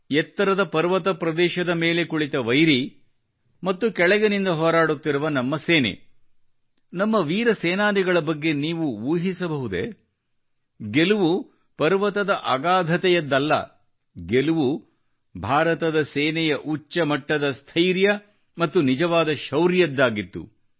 ಎತ್ತರದ ಪರ್ವತ ಪ್ರದೇಶದ ಮೇಲೆ ಕುಳಿತ ವೈರಿ ಮತ್ತು ಕೆಳಗಿನಿಂದ ಹೋರಾಡುತ್ತಿರುವ ನಮ್ಮ ಸೇನೆ ನಮ್ಮ ವೀರ ಸೇನಾನಿಗಳ ಬಗ್ಗೆ ನೀವು ಊಹಿಸಬಹುದೇ ಗೆಲುವು ಪರ್ವತದ ಅಗಾಧತೆಯದ್ದಲ್ಲ ಗೆಲುವು ಭಾರತದ ಸೇನೆಯ ಉಚ್ಚ ಮಟ್ಟದ ಸ್ಥೈರ್ಯ ಮತ್ತು ನಿಜವಾದ ಶೌರ್ಯದ್ದಾಗಿತ್ತು